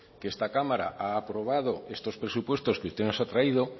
que esta cámara ha aprobado estos presupuestos que usted nos ha traído